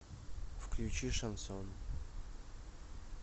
включи шансон